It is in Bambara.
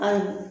Ayi